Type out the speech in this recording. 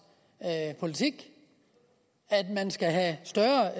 politik at man skal have større